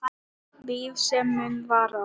Líf sem mun vara.